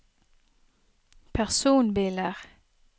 personbiler